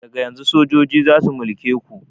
Daga yanzun sojoji zasu mulke ku